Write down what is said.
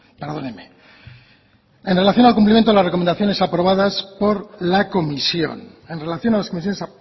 perdóneme en